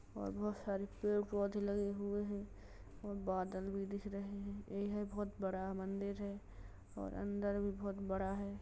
और बहोत सारे पेड़ पोधे लगे हुए है और बादल भी दिख रहे हैं। ई है बोहोत बड़ा मंदिर है और अंदर भी बोहोत बड़ा है।